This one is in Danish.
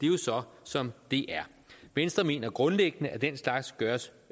jo så som det er venstre mener grundlæggende at den slags gøres